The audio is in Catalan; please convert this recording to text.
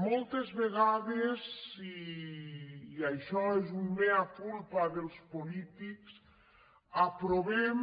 moltes vegades i això és un mea culpa dels po·lítics aprovem